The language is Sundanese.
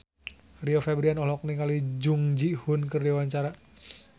Rio Febrian olohok ningali Jung Ji Hoon keur diwawancara